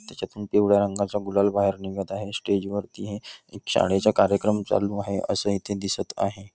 त्यांच्यातून पिवळा रंगा चा गुलाल निगत आहे स्टेज वरती हे एक जा शाळेचा कार्यक्रम चालू आहे असे इथे दिसत आहे.